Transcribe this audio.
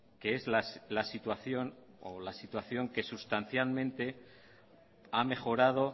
que es la situación o la situación que sustancialmente ha mejorado